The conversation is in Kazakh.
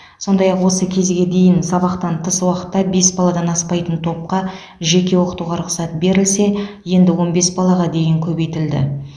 сондай ақ осы кезге дейін сабақтан тыс уақытта бес баладан аспайтын топқа жеке оқытуға рұқсат берілсе енді он бес балаға дейін көбейтілді